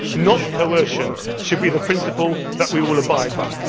not coercion, should be the principle that we will abide